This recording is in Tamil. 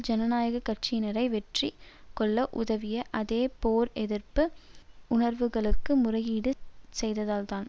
ஜனநாயக கட்சியினரை வெற்றி கொள்ள உதவிய அதே போர் எதிர்ப்பு உணர்வுகளுக்கு முறையீடு செய்ததால்தான்